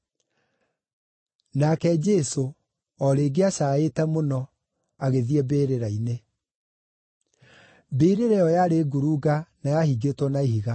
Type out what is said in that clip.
Nake Jesũ, o rĩngĩ acaaĩte mũno, agĩthiĩ mbĩrĩra-inĩ. Mbĩrĩra ĩyo yarĩ ngurunga na yahingĩtwo na ihiga.